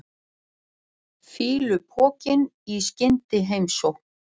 Fýlupokinn í skyndiheimsókn.